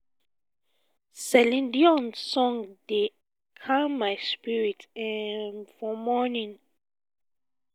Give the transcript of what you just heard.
celine dion song dey calm my spirit um down for morning